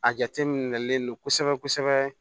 A jateminɛlen don kosɛbɛ kosɛbɛ